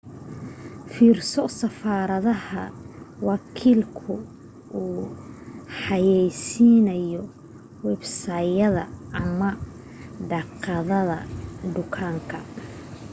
fiirso safarada wakiilku ku xayaysiinayo websayd ama daaqadda dukaanka